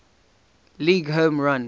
league home run